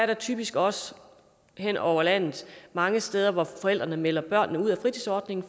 der typisk også hen over landet mange steder hvor forældrene meldte børnene ud af fritidsordningen